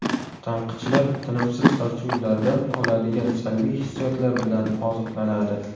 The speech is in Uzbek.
Tanqidchilar tinimsiz tortishuvlardan oladigan salbiy hissiyotlar bilan oziqlanadi.